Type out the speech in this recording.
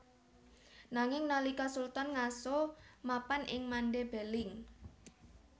Nanging nalika Sultan ngaso mapan ing Mande Beling